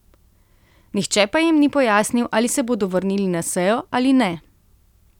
Nihče pa jim ni pojasnil, ali se bodo vrnili na sejo ali ne.